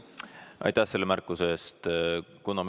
Aitäh selle märkuse eest!